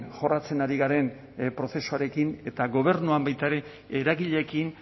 jorratzen ari garen prozesuarekin eta gobernuan baita ere eragileekin